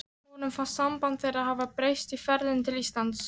Honum fannst samband þeirra hafa breyst í ferðinni til Íslands.